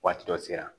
Waati dɔ sera